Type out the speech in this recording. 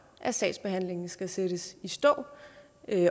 at sagsbehandlingen skal sættes i stå